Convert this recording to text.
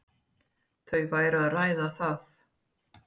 Þau væru að ræða það.